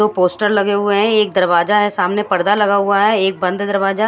दो पोस्टर लगे हुए है एक दरवाजा है सामने पर्दा लगा हुआ है बंद दरवाजा--